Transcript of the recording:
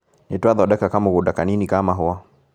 Nĩtwathondeka kamũgũnda kanini ka mahũa